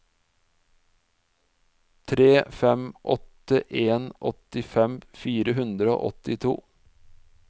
tre fem åtte en åttifem fire hundre og åttito